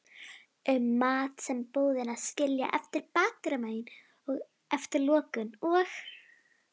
um mat sem búðirnar skilja eftir bakdyramegin eftir lokun og